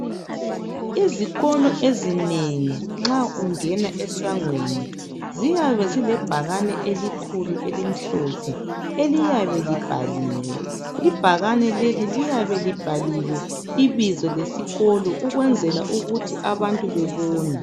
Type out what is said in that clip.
Izikolo ezinengi nxa ungena esangweni ziyabe zile bhakane elikhulu elimhlophe eliyabe libhaliwe ibhakane leli liyabe libhaliwe ibizo lesikolo ukwenzela ukuthi abantu bebone